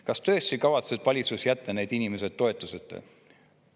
Kas tõesti kavatseb valitsus jätta need inimesed toetuseta?